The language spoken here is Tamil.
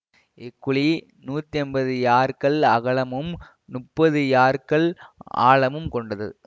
இக்குழி நூற்றி ஐம்பது யார்கள் அகலமும் முப்பது யார்கள் ஆழமும் கொண்டது